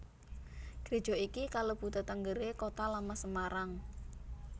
Gréja iki kalebu tetengeré Kota Lama Semarang